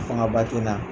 Fanga ba te na